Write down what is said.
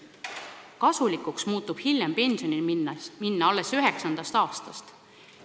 Kasulikuks muutub hiljem pensionile minna alles 9. aastast.